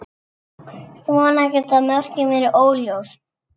Svona geta mörkin verið óljós.